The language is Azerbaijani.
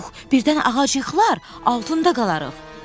Pux, birdən ağacı yıxılar, altında qalarıq.